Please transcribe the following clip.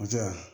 O tɛ yan